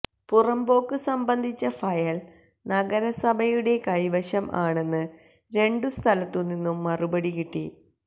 പുറമ്പോക്ക് സംബന്ധിച്ച ഫയൽ നഗരസഭയുടെ കൈവശം ആണെന്ന് രണ്ടു സ്ഥലത്തു നിന്നും മറുപടി കിട്ടി